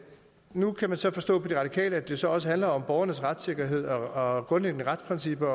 nu kan man så forstå på de radikale at det så også handler om borgernes retssikkerhed og grundlæggende retsprincipper